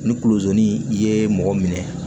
Ni kulozani ye mɔgɔ minɛ